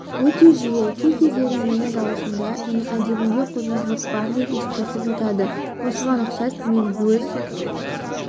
өте жиі кей кездері мені дауысыңда және әдебіңде қозушылық бар деп ескертіп жатады осыған ұқсас мен өз